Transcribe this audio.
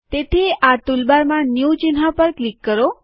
તેથી આ ટૂલબારમાં ન્યુ ચિહ્ન ઉપર ક્લિક કરો